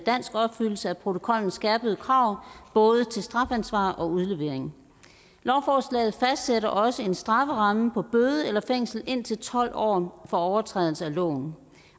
dansk opfyldelse af protokollens skærpede krav både til strafansvar og udlevering lovforslaget fastsætter også en strafferamme på bøde eller fængsel indtil tolv år for overtrædelse af loven